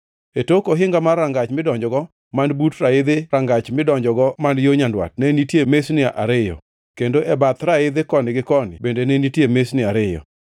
E tok ohinga mar rangach midonjogo, man but raidhi rangach midonjogo man yo nyandwat ne nitie mesni ariyo, kendo e bath raidhi koni gi koni bende ne nitie mesni ariyo.